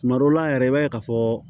Tuma dɔw la yɛrɛ i b'a ye ka fɔ